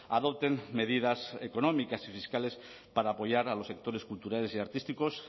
adopten medidas económicas y fiscales para apoyar a los sectores culturales y artísticos